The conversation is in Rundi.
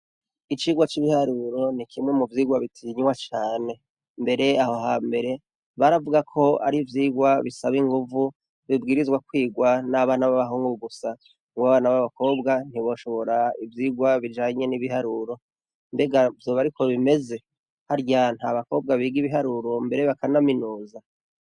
Icigwa c’ibiharuro ni kimwe mu vyigwa bitinywa cane. Mbere aho hambere baravuga ko ari ivyigwa bisaba inguvu bibwirizwa kwigwa n’abana babahungu gusa kuko abana babakobwa ntiboshobora ivyigwa bijanye n’ibiharuro. Mbega vyoba ariko bimeze? harya ntabakobwa biga ibiharuro mbere bakanaminuza?